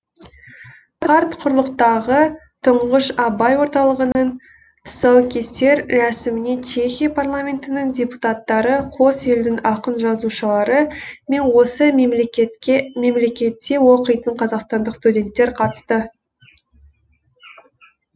қарт құрлықтағы тұңғыш абай орталығының тұсаукесер рәсіміне чехия парламентінің депутаттары қос елдің ақын жазушылары мен осы мемлекетке мемлекетте оқитын қазақстандық студенттер қатысты